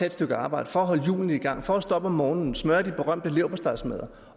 et stykke arbejde for at holde hjulene i gang for at stå op om morgenen smøre de berømte leverpostejsmadder